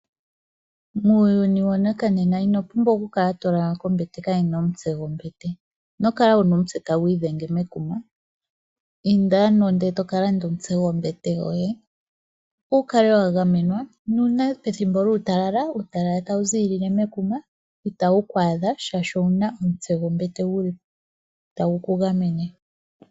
Muuyuni wanakanena ino pumbwa oku kala to lala kombete kaayina omutse gombete. Ino kala wuna omutse tagu idhenge mekuma inda ano e toka landa omutse gombete yoye opo wukale wa gamenwa, nuuna uutalala tawu ziilile mekuma itawu ku adha shaashi owuna omutse gwekuma gu li tagu ku gamene.